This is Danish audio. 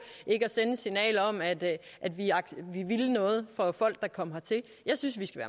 ikke at sende et signal om at vi ville noget for folk der kom hertil jeg synes vi skal